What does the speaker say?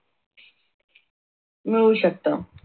मिळू शकत.